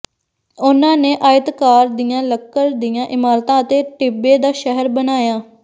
ਉਨ੍ਹਾਂ ਨੇ ਆਇਤਾਕਾਰ ਦੀਆਂ ਲੱਕੜ ਦੀਆਂ ਇਮਾਰਤਾਂ ਅਤੇ ਟਿੱਬੇ ਦਾ ਸ਼ਹਿਰ ਬਣਾਇਆ